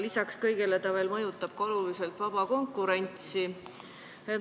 Lisaks kõigele see veel mõjutab oluliselt vaba konkurentsi.